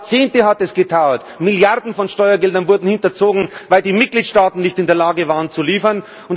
Jahrzehnte hat es gedauert! Milliarden von Steuergeldern wurden hinterzogen, weil die Mitgliedstaaten nicht in der Lage waren zu liefern.